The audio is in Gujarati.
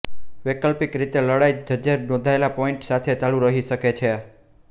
વૈકલ્પિક રીતે લડાઇ જજે નોંધેલા પોઇન્ટ સાથે ચાલુ રહી શકે છે